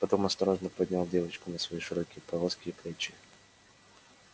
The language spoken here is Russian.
потом он осторожно поднял девочку на свои широкие плоские плечи